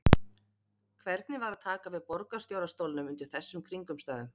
Hvernig var að taka við borgarstjóra stólnum undir þessum kringumstæðum?